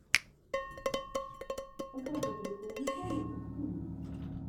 покажи прикол металлики ти ви